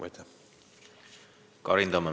Karin Tammemägi, palun!